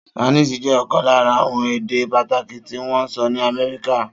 Spanish jẹ́ ọ̀kan lára àwọn èdè pàtàkì tí wọ́n ń sọ ní Amẹ́ríkà.